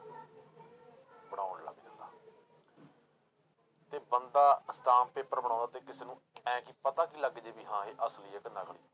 ਤੇ ਬੰਦਾ stamp paper ਬਣਾਉਂਦਾ ਤੇ ਕਿਸੇ ਨੂੰ ਐਂ ਕੀ ਪਤਾ ਕੀ ਲੱਗ ਜਾਏ ਵੀ ਹਾਂ ਇਹ ਅਸਲੀ ਹੈ ਕਿ ਨਕਲੀ।